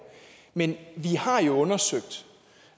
men vi har jo undersøgt